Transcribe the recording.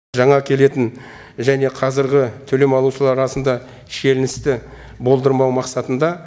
жаңа келетін және қазіргі төлем алушылар арасында шиеленісті болдырмау мақсатында